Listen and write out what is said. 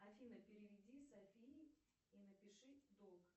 афина переведи софии и напиши долг